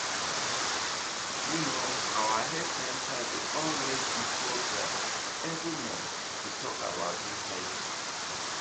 you know our health center dey always do program every month to talk about hiv